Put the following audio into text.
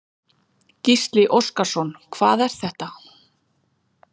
Gísli Óskarsson: Hvað er þetta?